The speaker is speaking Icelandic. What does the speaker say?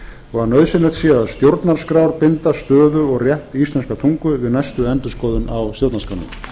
og að nauðsynlegt sé að stjórnarskrárbinda stöðu og rétt íslenskrar tungu við næstu endurskoðun á stjórnarskránni